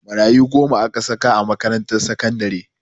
Marayu goma aka saka a makarantar sakandare